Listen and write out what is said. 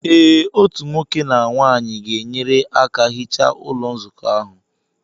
Ee otu nwoke na nwanyị ga-enyere aka hichaa Ụlọ Nzukọ ahụ